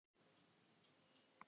Dóra leit við en sá ekkert markvert.